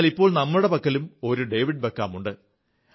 എന്നാൽ ഇപ്പോൾ നമ്മുടെ പക്കലും ഒരു ഡേവിഡ് ബെക്കാം ഉണ്ട്